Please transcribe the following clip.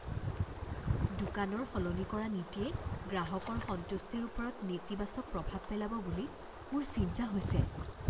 দোকানৰ সলনি কৰা নীতিয়ে গ্ৰাহকৰ সন্তুষ্টিৰ ওপৰত নেতিবাচক প্ৰভাৱ পেলাব বুলি মোৰ চিন্তা হৈছে।